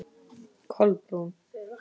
Kolbrún